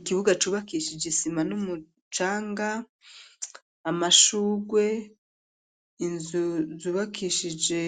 Ikibuga cubakishije, isima n'umucanga, amashurwe, inzu zubakishije,